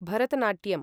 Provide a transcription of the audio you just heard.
Bharatanatyam